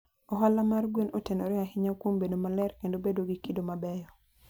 Ohala mar gwen otenore ahinya kuom bedo maler kendo bedo gi kido mabeyo.